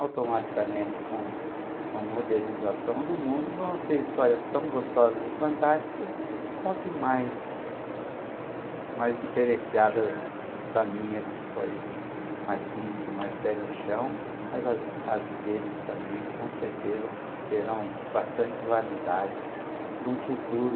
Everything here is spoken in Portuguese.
automaticamente com com a modernização do mundo, vão ser histórias tão gostosas e fantásticas, só que mais mais diferenciadas eh, da minha que foi mais simples, mais pé no chão, mas as a deles também com certeza terão bastante validade para um futuro